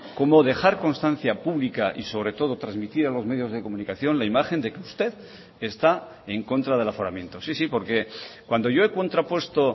como dejar constancia pública y sobre todo transmitir a los medios de comunicación la imagen de que usted está en contra del aforamiento sí sí porque cuando yo he contrapuesto